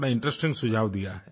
बड़ा ही इंटरेस्टिंग सुझाव दिया है